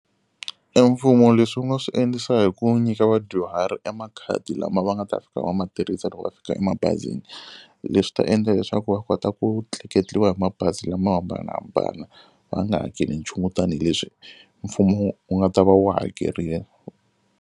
E mfumo leswi wu nga swi endlisa hi ku nyika vadyuhari e makhadi lama va nga ta fika va ma tirhisa loko va fika emabazini. Leswi ta endla leswaku va kota ku tleketliwa hi mabazi lama hambanahambana va nga hakeli nchumu tanihileswi mfumo wu nga ta va wu hakerile.